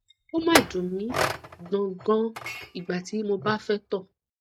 o ma dun mi gboggon igba ti mo ba fe to